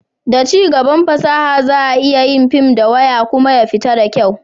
da cigaban fasaha, za a iya yin fim da waya kuma zai fita da kyau